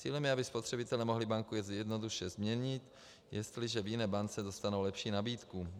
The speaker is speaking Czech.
Cílem je, aby spotřebitelé mohli banku jednoduše změnit, jestliže v jiné bance dostanou lepší nabídku.